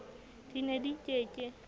di ne di ke ke